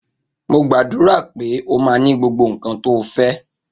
Mo gbàdúrà pe ọ ma ni gbogbo nkan to fe